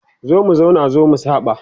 zo mu zauna zo mu saba